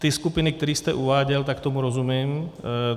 Ty skupiny, které jste uváděl, tak tomu rozumím.